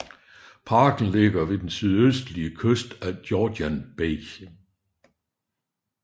Parken ligger ved den sydøstlige kyst af Georgian Bay